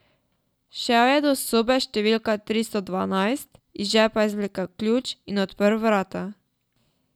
Šel je do sobe številka tristo dvanajst, iz žepa izvlekel ključ in odprl vrata.